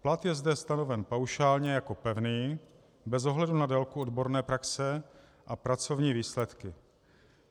Plat je zde stanoven paušálně jako pevný bez ohledu na délku odborné praxe a pracovní výsledky.